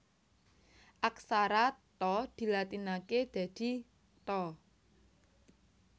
Aksara Tha dilatinaké dadi Tha